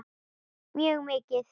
Mjög mikið.